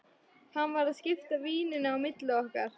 Hann var að skipta víninu á milli okkar!